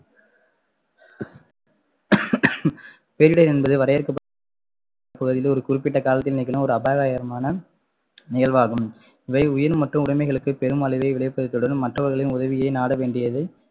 பேரிடர் என்பது வரையறுக்க பகுதியில் ஒரு குறிப்பிட்ட காலத்தில் நிகழும் ஒரு அபாயகரமான நிகழ்வாகும் இவை உயிர் மற்றும் உடமைகளுக்கு பெரும் அழிவை விளைவிப்பதை தொடர்ந்து மற்றவர்களின் உதவியை நாட வேண்டியது